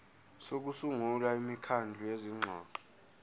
sokusungula imikhandlu yezingxoxo